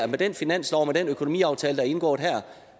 med den finanslov og med den økonomiaftale der er indgået